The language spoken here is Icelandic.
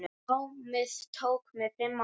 Námið tók mig fimm ár.